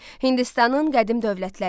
Hindistanın qədim dövlətləri.